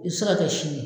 I bɛ se ka kɛ sini ye